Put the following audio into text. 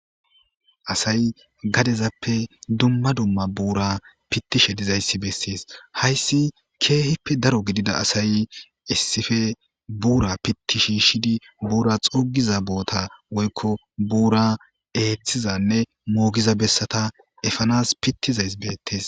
Asyi gadezappe duma duma buraza pitishe dizaysi beses haysi kehippe daro gidida asay issippe bura piti shishidi buraza xugiza botta woyko bura ethiza nne mogiza betta petizaysi betes